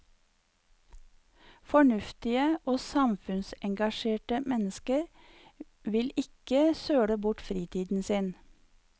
Fornuftige og samfunnsengasjerte mennesker vil ikke søle bort fritiden sin.